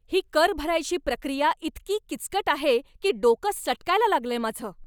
ही कर भरायची प्रक्रिया इतकी किचकट आहे की डोकं सटकायला लागलंय माझं!